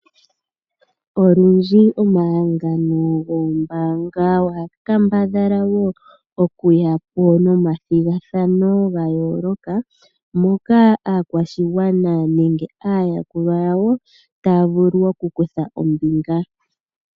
Olundji omahangano goombanga ohaga kambadhala woo okuyapo nomathigathano ga yooloka, moka aakwashigwana nenge aayakulwa yawo taya vulu oku kutha ombinga.